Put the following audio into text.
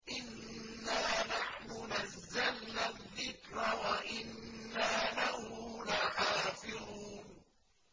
إِنَّا نَحْنُ نَزَّلْنَا الذِّكْرَ وَإِنَّا لَهُ لَحَافِظُونَ